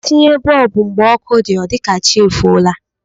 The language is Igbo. E tinye bọọbụ mgbe ọkụ dị, ọ dị ka chi efola